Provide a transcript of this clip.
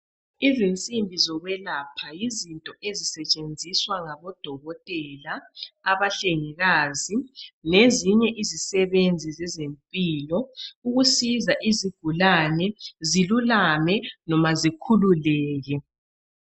Izinsimbi zokwelapha yizinto ezisetshenziswa ngodokotela, abahlengikazi, lezinye izisebenzi zezempilo ukusiza izigulane zilulame noma zikhululeke.